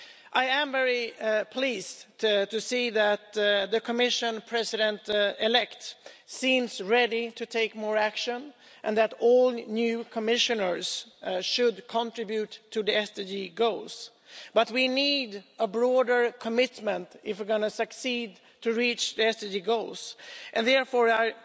I am very pleased to see that the Commission President elect seems ready to take more action and that all new Commissioners should contribute to the SDG goals, but we need a broader commitment if we're going to succeed in reaching the SDG goals and therefore I